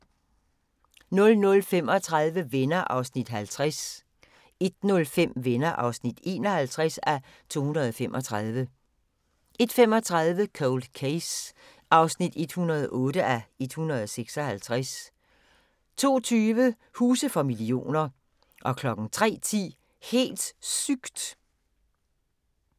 00:35: Venner (50:235) 01:05: Venner (51:235) 01:35: Cold Case (108:156) 02:20: Huse for millioner 03:10: Helt sygt!